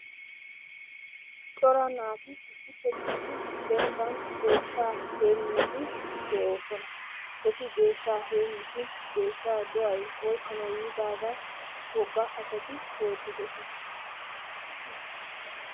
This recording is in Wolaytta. Cora naati issippe gididi dembban deeshsha heemidi deosona. Eti deeshshaa heemishin deeshshaa doay oykkanawu yiidaga woggaa asati gooddidosona.